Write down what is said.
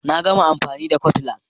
Na gama amfani da Cutlass